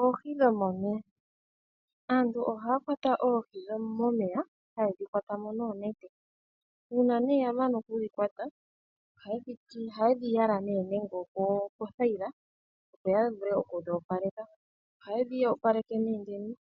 Oohi dhomomeya! Aantu ohaya kwata oohi momeya haye dhikwata mo noonete. Uuna nee yamana okudhi kwata ohaye dhi yala nande opothayila opo yavule oku dhi opaleka. Ohaye dhi opaleke nee